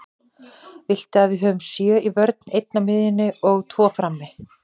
Viltu að við höfum sjö í vörn, einn á miðjunni og tvo frammi?